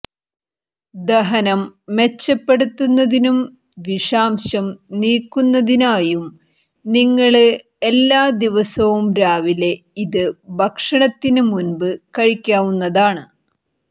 ദഹനം മെച്ചപ്പെടുത്തുന്നതിനും വിഷാംശം നീക്കുന്നതിനായും നിങ്ങള്ക്ക് എല്ലാ ദിവസവും രാവിലെ ഇത് ഭക്ഷണത്തിന് മുമ്പ് കഴിക്കാവുന്നതാണ്